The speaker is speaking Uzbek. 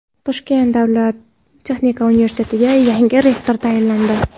Toshkent davlat texnika universitetiga yangi rektor tayinlandi.